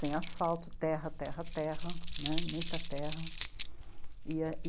sem asfalto, terra, terra, terra, muita terra. E